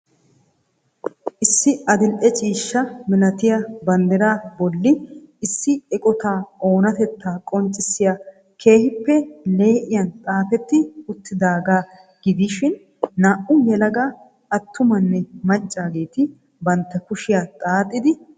Issi adildhdhe ciishsha malattiya baaneriya. bolli issi eqotaa oonatetaa qoncissiya keehiippe lee'iyaan xaafetti uttidaagaa gidishin naa'u yelaga atumanne maccaageetti bantta kushiya xaaxxidi beettoosonna.